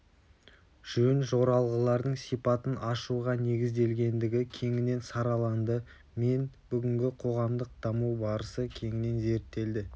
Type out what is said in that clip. жөн-жоралғылардың сипатын ашуға негізделгендігі кеңінен сараланды мен бүгінгі қоғамдық даму барысы кеңінен зерттелді